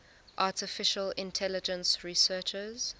artificial intelligence researchers